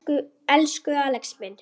Elsku Axel minn.